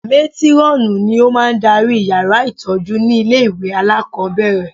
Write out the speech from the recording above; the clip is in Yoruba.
Mátírọ́ọ̀nù ni ó máa ń darí yàrá ìtọ́jú ní ilé ìwé alákọ̀ọ́bẹ̀rẹ̀